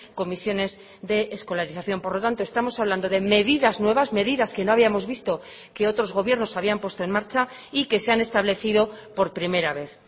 comisiones de escolarización por lo tanto estamos hablando de medidas nuevas medidas que no habíamos visto que otros gobiernos habían puesto en marcha y que se han establecido por primera vez